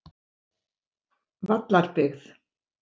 Vallarbyggð